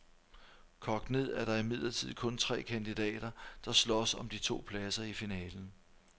Kogt ned er der imidlertid kun tre kandidater, der slås om de to pladser i finalen.